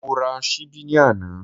Mo ra ṣíbí ní àná